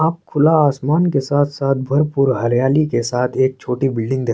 आप खुला आसमान के साथ-साथ भरपूर हरियाली के साथ एक छोटी बिल्डिंग दे --